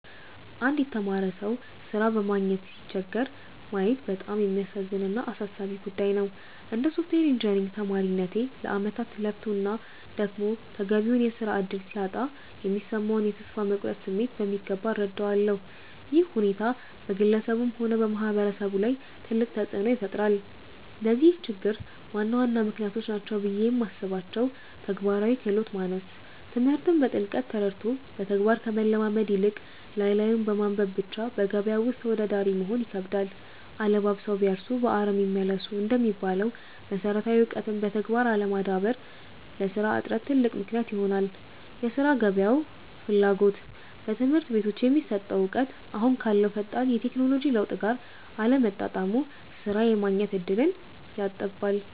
አንድ የተማረ ሰው ሥራ በማግኘት ሲቸገር ማየት በጣም የሚያሳዝን እና አሳሳቢ ጉዳይ ነው። እንደ ሶፍትዌር ኢንጂነሪንግ ተማሪነቴ፣ ለዓመታት ለፍቶና ደክሞ ተገቢውን የሥራ ዕድል ሲያጣ የሚሰማውን የተስፋ መቁረጥ ስሜት በሚገባ እረዳለሁ። ይህ ሁኔታ በግለሰቡም ሆነ በማህበረሰቡ ላይ ትልቅ ተጽዕኖ ይፈጥራል። ለዚህ ችግር ዋና ዋና ምክንያቶች ናቸው ብዬ የማስባቸው፦ ተግባራዊ ክህሎት ማነስ፦ ትምህርትን በጥልቀት ተረድቶ በተግባር ከመለማመድ ይልቅ፣ ላይ ላዩን በማንበብ ብቻ በገበያው ውስጥ ተወዳዳሪ መሆን ይከብዳል። 'አለባብሰው ቢያርሱ በአረም ይመለሱ' እንደሚባለው፣ መሰረታዊ እውቀትን በተግባር አለማዳበር ለሥራ እጥረት ትልቅ ምክንያት ይሆናል የሥራ ገበያው ፍላጎት፦ በትምህርት ቤቶች የሚሰጠው እውቀት አሁን ካለው ፈጣን የቴክኖሎጂ ለውጥ ጋር አለመጣጣሙ ሥራ የማግኘት ዕድልን ያጠባል።